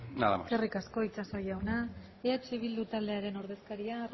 nada más eskerrik asko itxaso jauna eh bildu taldearen ordezkaria